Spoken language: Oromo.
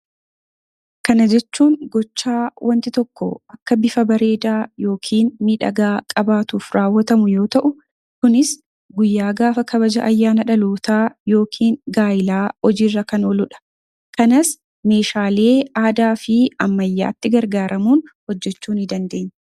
Kana jechuun gochaa wanti tokko akka bifa bareedaa ( miidhagaa) qabaatuuf raawwatamu yoo ta'u, kunis guyyaa gaafa kabaja ayyaana dhalootaa yookiin gaa'ilaa hojiirra kan oolu dha. Kanas meeshaalee aadaa fi ammayyaatti gargaaramuun hojjechuu ni dandeenya.